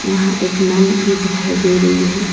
यहां एक नल भी दिखाई दे रही है।